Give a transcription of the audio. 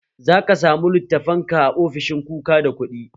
Zaka samu littafan ka a ofishin kuka da kuɗi